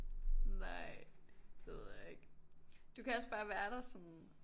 Nej det ved jeg ikke du kan også bare være der sådan